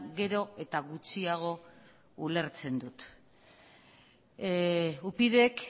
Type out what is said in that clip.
gero eta gutxiago ulertzen dut upydk